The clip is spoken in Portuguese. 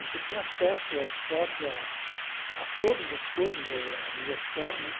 Você tinha acesso a esportes, a a todas as coisas, a diversão, né?